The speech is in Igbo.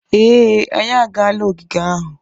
Ee, anyị agaala ogige ahu.